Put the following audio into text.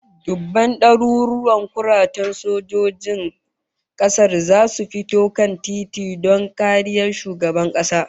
Dubban daruruwan kuratan sojojin kasar zasu fito kan tituna don tariyan shugaban kasar